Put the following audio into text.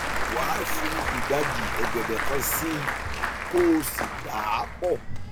wá fi ìdajì ọgẹdẹ kan sí i kó o sì dà á pọ